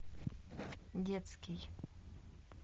детский